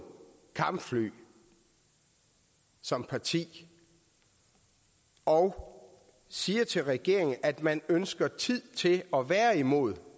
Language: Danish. kampfly som parti og siger til regeringen at man ønsker tid til at være imod